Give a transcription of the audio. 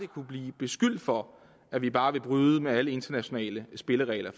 kunne blive beskyldt for at vi bare vil bryde med alle internationale spilleregler